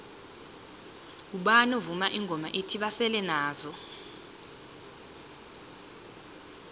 ngubani ovuma ingoma ethi basele nazo